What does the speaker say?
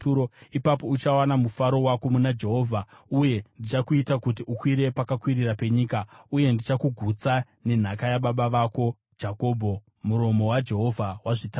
ipapo uchawana mufaro wako muna Jehovha, uye ndichakuita kuti ukwire pakakwirira penyika, uye ndichakugutsa nenhaka yababa vako Jakobho.” Muromo waJehovha wazvitaura.